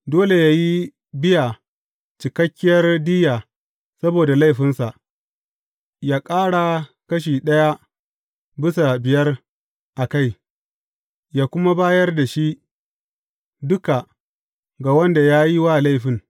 Dole yă yi biya cikakkiyar diyya saboda laifinsa, yă ƙara kashi ɗaya bisa biyar a kai, yă kuma bayar da shi duka ga wanda ya yi wa laifin.